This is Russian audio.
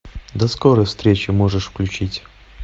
до скорой встречи можешь включить